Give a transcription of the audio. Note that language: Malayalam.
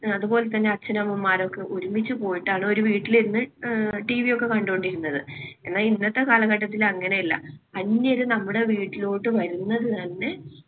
അതുപോലെതന്നെ അച്ഛനമ്മമാരൊക്കെ ഒരുമിച്ച് പോയിട്ടാണ്ഒരു വീട്ടിലിരുന്ന് അഹ് TV ഒക്കെ കണ്ടോണ്ടിരുന്നത്. എന്നാൽ ഇന്നത്തെ കാലഘട്ടത്തില് അങ്ങനെയല്ല. അന്യര് നമ്മുടെ വീട്ടിലോട്ട് വരുന്നത് തന്നെ